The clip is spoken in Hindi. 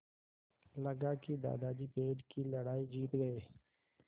लगा कि दादाजी पेड़ की लड़ाई जीत गए